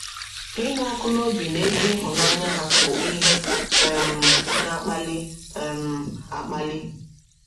Ịnụ ọkụ n’obi na ezi ịhụnanya ha bụ ihe um na - akpali um akpali.